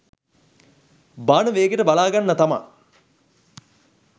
බාන වේගෙට බලාගන්න තමා